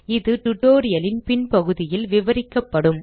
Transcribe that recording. இது tutorial ன் பின் பகுதியில் விவரிக்கப்படும்